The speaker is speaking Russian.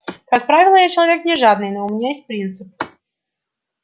как правило я человек не жадный но у меня есть принцип